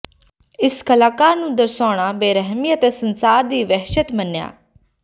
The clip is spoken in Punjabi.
ਇਸ ਕਲਾਕਾਰ ਨੂੰ ਦਰਸਾਉਣ ਬੇਰਹਿਮੀ ਅਤੇ ਸੰਸਾਰ ਦੀ ਵਹਿਸ਼ਤ ਮੰਨਿਆ